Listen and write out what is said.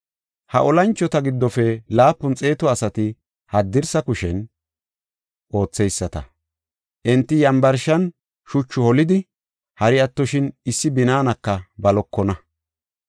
Ha olanchota giddofe laapun xeetu asati haddirsa kushen ootheyisata; enti yambarshan shuchu holidi, hari attoshin issi binaanaka balokona.